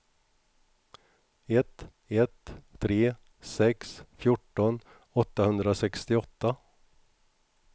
ett ett tre sex fjorton åttahundrasextioåtta